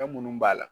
Fɛn munnu b'a la